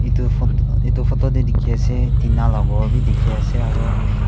etu phot etu photo teh dikhi ase tina lah ghor bhi dikhi ase aro--